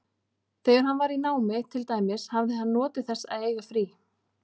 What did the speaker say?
Þegar hann var í námi, til dæmis, hafði hann notið þess að eiga frí.